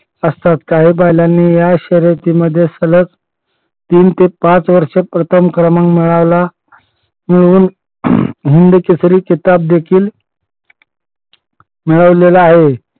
असतात काही बैलांनी या शर्यतीमध्ये सलग तीन ते पाच वर्ष प्रथम क्रमांक मिळवला मिळवून हिंदकेसरी किताब देखील मिळवलेला आहे.